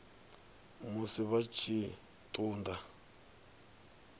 musi vha tshi ṱun ḓa